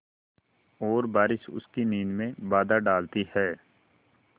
और बारिश उसकी नींद में बाधा डालती है